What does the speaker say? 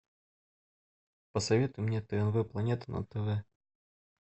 посоветуй мне тнв планета на тв